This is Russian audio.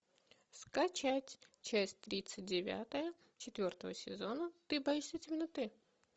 скачать часть тридцать девятая четвертого сезона ты боишься темноты